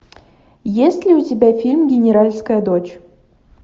есть ли у тебя фильм генеральская дочь